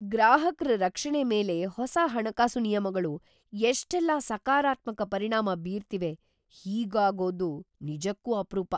ಗ್ರಾಹಕ್ರ ರಕ್ಷಣೆ ಮೇಲೆ ಹೊಸ ಹಣಕಾಸು ನಿಯಮಗಳು ಎಷ್ಟೆಲ್ಲ ಸಕಾರಾತ್ಮಕ ಪರಿಣಾಮ ಬೀರ್ತಿವೆ, ಹೀಗಾಗೋದು ನಿಜಕ್ಕೂ ಅಪ್ರೂಪ!